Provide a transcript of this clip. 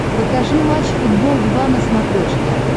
покажи матч футбол два на смотрешке